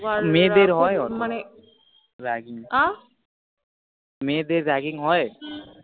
মেয়েদের হয়ে ও না ragging হয়? মেয়েদের ragging হয়ে?